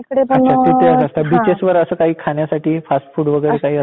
बिचेसवर असं काही खाण्यासाठी फास्ट फूड वगैरे काही असतात का?